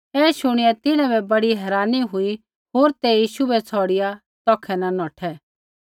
ऐ शुणिया तिन्हां बै बड़ी हैरानी हुई होर ते यीशु बै छ़ौड़िआ तौखै न नौठै